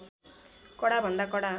कडा भन्दा कडा